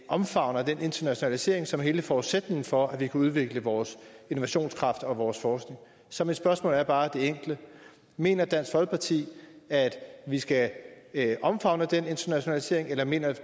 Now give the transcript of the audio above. omfavner den internationalisering som er hele forudsætningen for at vi kan udvikle vores innovationskraft og vores forskning så mit spørgsmål er bare det enkle mener dansk folkeparti at vi skal omfavne den internationalisering eller mener